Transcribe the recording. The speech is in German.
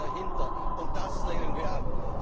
Das steht dahinter, und das lehnen